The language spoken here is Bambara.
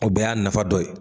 O bɛɛ y'a nafa dɔ ye